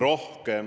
Nõus!